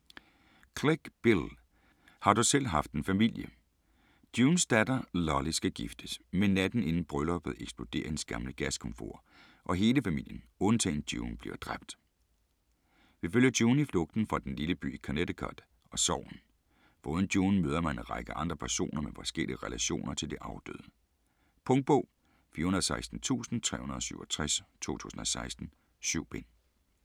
Clegg, Bill: Har du selv haft en familie Junes datter Lolly skal giftes, men natten inden brylluppet eksploderer hendes gamle gaskomfur, og hele familien undtagen June bliver dræbt. Vi følger June i flugten fra den lille by i Connecticut og sorgen. Foruden June møder man en række andre personer med forskellige relationer til de afdøde. Punktbog 416367 2016. 7 bind.